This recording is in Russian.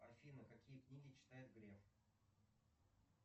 афина какие книги читает греф